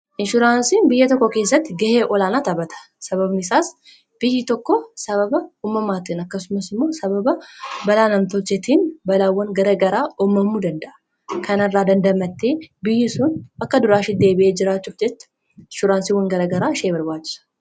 inshuraansiin biyya tokko keessatti gahee olaanaa taphata sababni isaas biyyi tokko sababa ummamaattiin akkasumas immoo sababa balaa namtolchetiin balaawwan gara garaa uumamuu danda'u irraa dandamatti biyyi sun akka duraa shetti deebite jiraachuuf jecha inshuraansiiwwan gara garaa ishee barbaachisu.